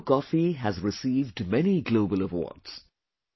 Araku coffee has received many global awards